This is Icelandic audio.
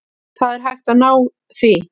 Það er hægt að ná því.